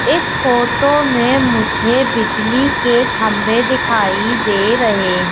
इस फोटो में मुझे बिजली के खंभे दिखाई दे रहें--